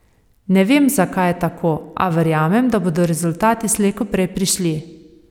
Ne vem, zakaj je tako, a verjamem, da bodo rezultati slej ko prej prišli.